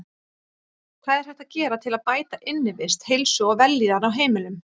Hvað er hægt að gera til að bæta innivist, heilsu og vellíðan á heimilum?